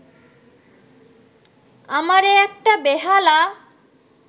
আমারে একটা বেহালা